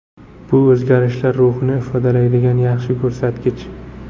Bu o‘zgarishlar ruhini ifodalaydigan yaxshi ko‘rsatkich.